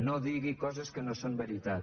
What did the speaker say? no digui coses que no són veritat